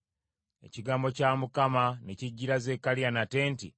Ekigambo kya Mukama ne kijjira Zekkaliya nate nti,